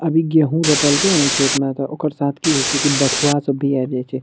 अभी गेहू रोपल के न खेत में त ओकर साथ की होय छे कि बथवा सब भी आय जाय छे।